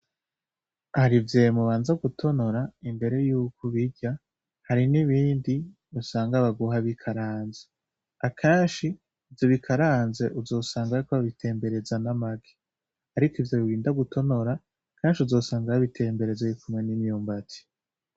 Harivyemu ubanza gutonora imbere yuko ubirya hari n'ibindi usanga baguha bikaranze , akanshi ivyo bikaranze uzosanga ayko ababitembereza n'amaki, ariko ivyo biginda gutonora kanshi uzosanga ababitemberezo bikumwa n'imyumbati.